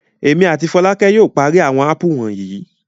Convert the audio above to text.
Èmi àti Fọlákẹ́ yóò parí àwọn ápù wonyi.